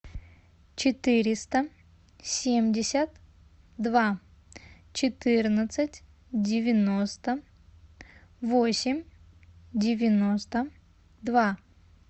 четыреста семьдесят два четырнадцать девяносто восемь девяносто два